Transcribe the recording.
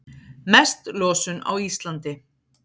Mest losun á Íslandi